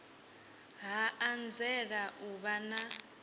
ha anzela u vha na